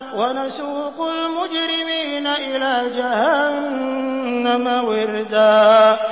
وَنَسُوقُ الْمُجْرِمِينَ إِلَىٰ جَهَنَّمَ وِرْدًا